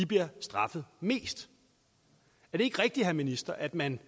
bliver straffet mest er det ikke rigtigt herre minister at man